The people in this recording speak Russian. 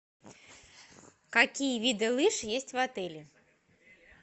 какие виды лыж есть в отеле